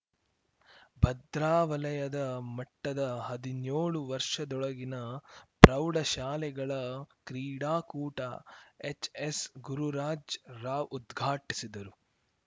ಭದ್ರಾ ವಲಯ ಮಟ್ಟದ ಹದಿನ್ಯೋಳು ವರ್ಷದೊಳಗಿನ ಪ್ರೌಢಶಾಲೆಗಳ ಕ್ರೀಡಾಕೂಟ ಎಚ್‌ಎಸ್‌ ಗುರುರಾಜ್ ರಾವ್‌ ಉದ್ಘಾಟಿಸಿದರು